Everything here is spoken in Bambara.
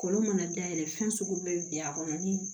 Kolo mana dayɛlɛ fɛn sugu min bɛ bi a kɔnɔ ni